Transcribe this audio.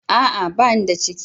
A'a! Ba ni da ciki.